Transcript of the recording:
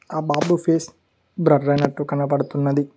ఆ బాబు face blur అయినట్టు కనపడుతున్నది.